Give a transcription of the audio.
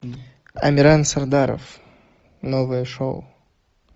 амиран сардаров новое шоу